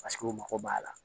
Paseke u mago b'a la